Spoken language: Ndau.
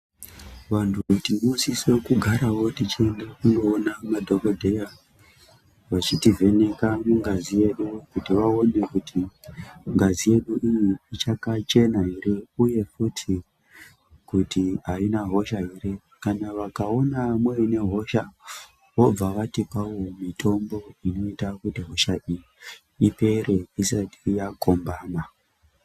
Vantu kuti uswisewo kugarawo tichiende kundoona madhokodheya, vachitivheneka mungazi yedu kuti vaone kuti ngazi yedu iyi ichakachena here, uye futi kuti haina hosha here. Kana vakaona muine hosha vobva vatipawo mitombo inoita kuti hosha iyi ipere isati yakombama.